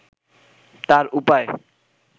তার উপায়